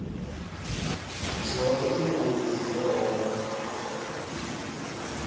zoke iingodi zewho